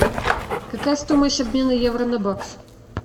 какая стоимость обмена евро на бакс